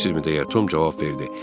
Bilirsizmi Tom cavab verdi.